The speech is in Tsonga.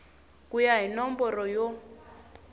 ku ya hi nomboro ya